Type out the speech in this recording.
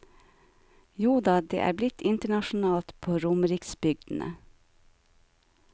Joda, det er blitt internasjonalt på romeriksbygdene.